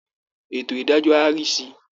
Ètò ìdájọ́ á rí sí i